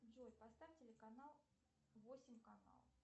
джой поставь телеканал восемь канал